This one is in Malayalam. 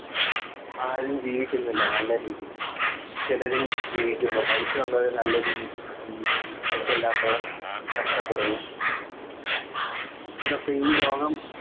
ആരും ജീവിക്കുന്നില്ല നല്ല രീതിയിൽ ചെലരു ജീവിക്കുന്നു പൈസയുള്ളവർ നല്ല രീതിയിൽ ജീവിക്കുന്നു പൈസ ഇല്ലാത്തവർ കഷ്ടപ്പെടുന്നു ഇന്നത്തെ ഈ ലോകം